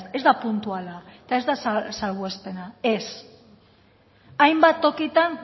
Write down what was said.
ez da puntuala eta ez da salbuespena ez hainbat tokitan